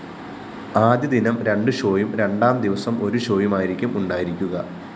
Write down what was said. ആദ്യ ദിനം രണ്ടു ഷോയും രണ്ടാം ദിവസം ഒരുഷോയുമായിരിക്കും ഉണ്ടായിരിക്കുക